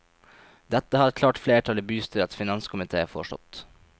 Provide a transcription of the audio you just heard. Dette har et klart flertall i bystyrets finanskomité forstått.